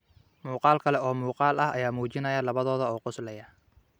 Muuqaal kale oo muuqaal ah ayaa muujinayay labadooda oo qoslaya.